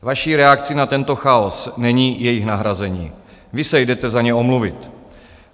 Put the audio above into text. Vaší reakcí na tento chaos není jejich nahrazení, vy se jdete za ně omluvit.